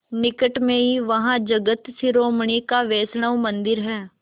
निकट में ही वहाँ जगत शिरोमणि का वैष्णव मंदिर है